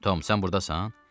Tom sən burdasan?